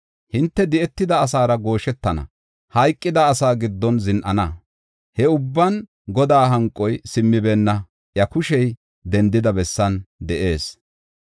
Hinte di7etida asaara gooshetana; hayqida asaa giddon zin7ana. He ubban Godaa hanqoy simmibeenna; iya kushey dendida bessan de7ees.